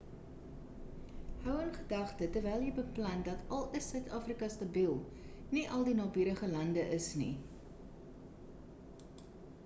hou in gedagte terwyl jy beplan dat al is suid-afrika stabiel nie al die naburige lande is nie